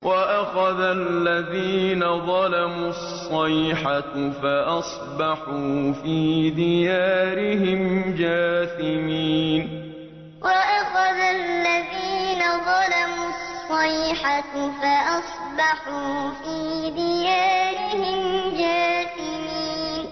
وَأَخَذَ الَّذِينَ ظَلَمُوا الصَّيْحَةُ فَأَصْبَحُوا فِي دِيَارِهِمْ جَاثِمِينَ وَأَخَذَ الَّذِينَ ظَلَمُوا الصَّيْحَةُ فَأَصْبَحُوا فِي دِيَارِهِمْ جَاثِمِينَ